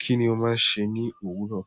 Kíni o máa ń se ní òwúrọ̀?